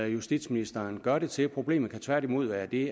justitsministeren gør det til problemet kan tværtimod være det